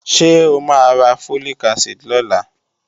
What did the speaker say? Ṣé o máa ra Folic acid lọ́la?